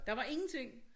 Der var ingenting